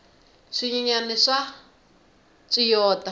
swinyenyani swa tswiyota